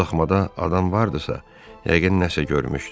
Bu daxmada adam vardisa, yəqin nəsə görmüşdü.